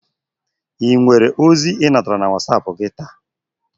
Enwere ozi I natara na wasap gị taa?